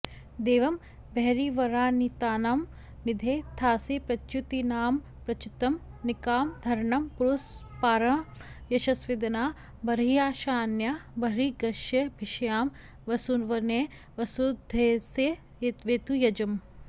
दे॒वं ब॒र्॒हिर्वारि॑तीनां नि॒धे धा॑सि॒ प्रच्यु॑तीना॒मप्र॑च्युतं निकाम॒धर॑णं पुरुस्पा॒र्॒हं यश॑स्वदे॒ना ब॒र्॒हिषा॒ऽन्या ब॒र्॒हीग्ष्य॒भिष्या॑म वसु॒वने॑ वसु॒धेय॑स्य वेतु॒ यज॑